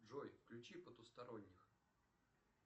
джой включи потусторонних